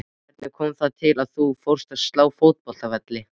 Hvernig kom það til að þú fórst að slá fótboltavelli?